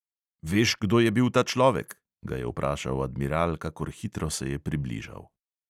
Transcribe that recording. "Veš, kdo je bil ta človek?" ga je vprašal admiral, kakor hitro se je približal.